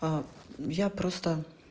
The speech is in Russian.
а я просто